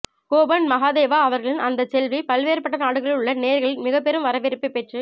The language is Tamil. கோபன் மகாதேவா அவர்களின் அந்தச் செவ்வி பல்வேறுபட்ட நாடுகளிலுள்ள நேயர்களின் மிகப் பெரும் வரவேற்பை பெற்றுக்